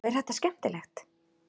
Og er þetta skemmtilegt?